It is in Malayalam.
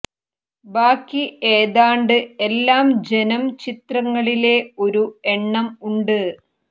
ബാക്കി ഏതാണ്ട് എല്ലാ ജനം ചിത്രങ്ങളിലെ ഒരു എണ്ണം ഉണ്ട്